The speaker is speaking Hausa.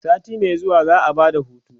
sati Mai zuwa za'a Bada hutu